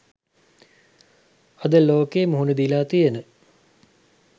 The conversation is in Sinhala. අද ලෝකය මුහුණ දීලා තියෙන